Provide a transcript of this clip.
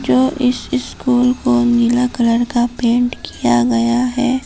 जो इस स्कूल को नीला कलर का पेंट किया गया है।